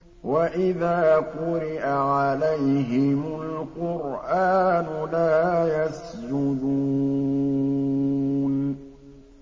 وَإِذَا قُرِئَ عَلَيْهِمُ الْقُرْآنُ لَا يَسْجُدُونَ ۩